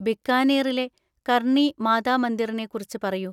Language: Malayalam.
ബിക്കാനീറിലെ കർണി മാതാ മന്ദിറിനെ കുറിച്ച് പറയൂ.